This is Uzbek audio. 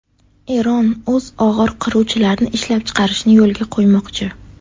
Eron o‘z og‘ir qiruvchilarini ishlab chiqarishni yo‘lga qo‘ymoqchi.